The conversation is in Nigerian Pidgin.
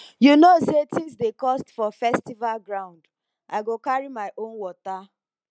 you know sey tins dey cost for festival ground i go carry my own water